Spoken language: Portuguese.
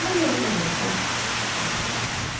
Mas eu respeito